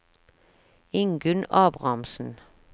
Ingunn Abrahamsen